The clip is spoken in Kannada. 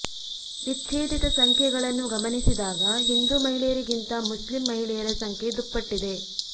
ವಿಚ್ಛೇದಿತ ಸಂಖ್ಯೆಗಳನ್ನು ಗಮನಿಸಿದಾಗ ಹಿಂದು ಮಹಿಳೆಯರಿಗಿಂತ ಮುಸ್ಲಿಂ ಮಹಿಳೆಯರ ಸಂಖ್ಯೆ ದುಪ್ಪಟ್ಟಿದೆ